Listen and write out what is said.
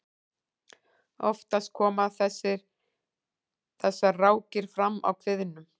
oftast koma þessar rákir fram á kviðnum